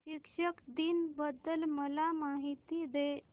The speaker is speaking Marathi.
शिक्षक दिन बद्दल मला माहिती दे